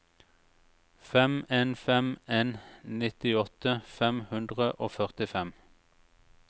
fem en fem en nittiåtte fem hundre og førtifem